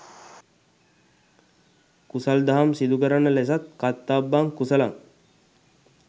කුසල් දහම් සිදුකරන ලෙසත් කත්තබ්බං කුසලං